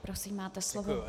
Prosím, máte slovo.